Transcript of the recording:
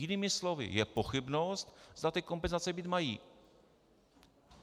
Jinými slovy, je pochybnost, zda ty kompenzace být mají.